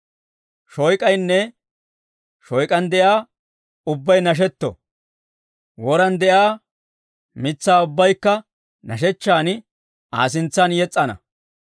Shoyk'aynne shoyk'an de'iyaa ubbay nashetto! Woran de'iyaa mitsaa ubbaykka nashshechchan Aa sintsan yes's'ana.